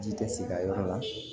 Ji tɛ se a yɔrɔ la